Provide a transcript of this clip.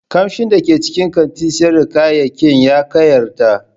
Kamshin da ke cikin kantin sayar da kayayyaki ya kayatar.